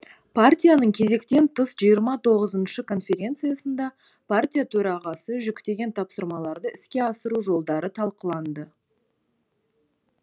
партияның кезектен тыс жиырма тоғызыншы конференциясында партия төрағасы жүктеген тапсырмаларды іске асыру жолдары талқыланды